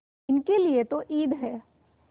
इनके लिए तो ईद है